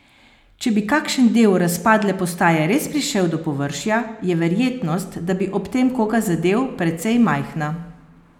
Če bi kakšen del razpadle postaje res prišel do površja, je verjetnost, da bi ob tem koga zadel, precej majhna.